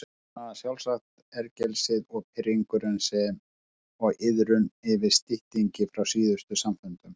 Þess vegna sjálfsagt ergelsið og pirringurinn sem og iðrun yfir styttingi frá síðustu samfundum.